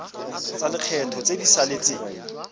tsa lekgetho tse di saletseng